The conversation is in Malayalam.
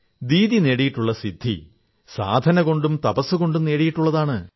ദീദി നേടിയിട്ടുള്ള സിദ്ധി സാധനകൊണ്ടും തപസ്സുകൊണ്ടും നേടിയിട്ടുള്ളതാണ്